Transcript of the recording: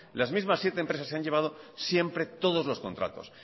las mismas siete empresas se han llevado siempre todos los contratos